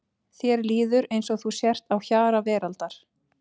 Þér líður eins og þú sért á hjara veraldar.